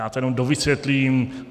Já to jenom dovysvětlím.